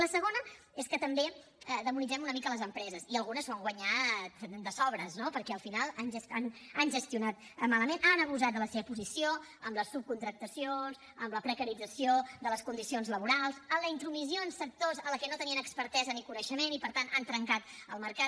i la segona és que també demonitzem una mica les empreses i algunes s’ho han guanyat de sobres no perquè al final han gestionat malament han abusat de la seva posició amb les subcontractacions amb la precarització de les condicions laborals amb la intromissió en sectors en els que no tenien expertesa ni coneixement i per tant han trencat el mercat